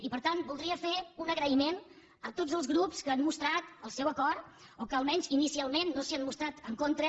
i per tant voldria fer un agraïment a tots els grups que han mostrat el seu acord o que almenys inicialment no s’hi han mostrat en contra